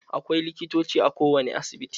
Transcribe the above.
Akwai likitoci a ko wane asibiti.